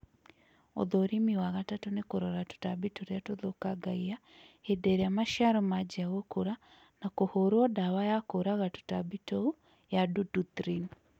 ũthũrĩmĩ wa gatatũ nĩ kũrora tũtambĩ tũrĩa tũthũkangagĩa hĩndĩ ĩrĩa macĩaro manjĩa gũkũra na kũhũrũo dawa ya kũũraga tũtambĩ tũũ ya dũdũthrĩn